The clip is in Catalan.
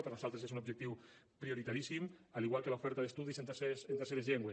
per a nosaltres és un objectiu prioritaríssim igual que l’oferta d’estudis en terceres llengües